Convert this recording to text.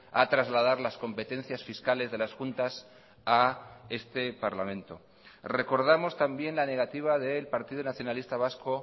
a trasladar las competencias fiscales de las juntas a este parlamento recordamos también la negativa del partido nacionalista vasco